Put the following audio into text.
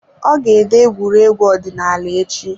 Ọ ga ede egwuregwu ọdịnaala echi.